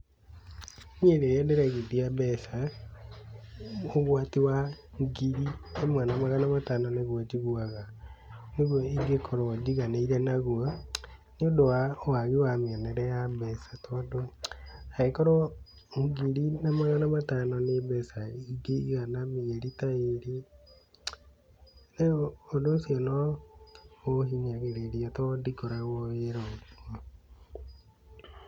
Niĩ rĩrĩa ndĩraigithia mbeca, ũgwati wa ngiri ĩmwe na magana matano nĩguo njiguaga nĩguo ingĩkorwo njiganĩire naguo, nĩũndũ wa wagi wa mĩonere ya mbeca, tondũ angĩkorwo ngiri na magana matano nĩ mbeca ingĩigana mĩeri ta ĩrĩ, rĩu ũndũ ũcio no ũhinyagĩrĩria tondũ ndikoragwo wĩra.